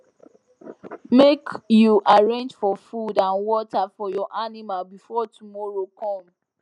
make you arrange for food and water for your animal before tomorow come